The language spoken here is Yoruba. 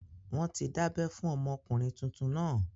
Wọ́n ti dábẹ́ fún ọmọkùnrin tuntun náà